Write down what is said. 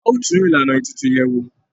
A ó tún Ìlànà ètùtù yẹ̀ wò